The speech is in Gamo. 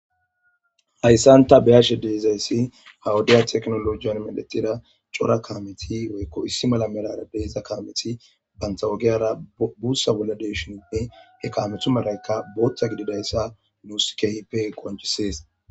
Hayssan ta beyashe deezayssi hawudiya teknolojiyan meletida cora kaameti oykko issi mala merara deeza kaameti banta wogiyara buussa bolla deeshininne he kaamethu maraykka booththa gididayssa nuus kehipe qonjisees.